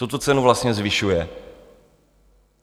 Co tu cenu vlastně zvyšuje?